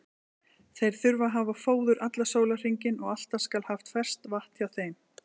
Þeir þurfa að hafa fóður allan sólarhringinn og alltaf skal haft ferskt vatn hjá þeim.